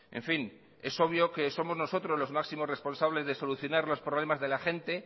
en fin es obvio que somos nosotros los máximos responsables de solucionar los problemas de la gente